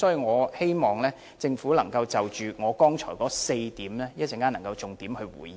我希望政府稍後能夠就我剛才提出的4點，作出重點回應。